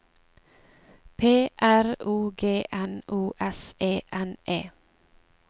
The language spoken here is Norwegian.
P R O G N O S E N E